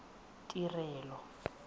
tirelo